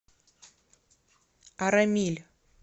арамиль